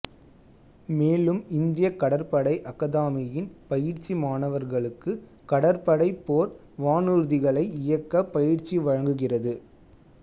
மேலும் இந்தியக் கடற்படை அகாதமியின் பயிற்சி மாணவர்களுக்கு கடற்படை போர் வானூர்திகளை இயக்க பயிற்சி வழங்குகிறது